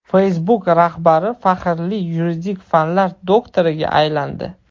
Facebook rahbari faxrli yuridik fanlar doktoriga aylandi.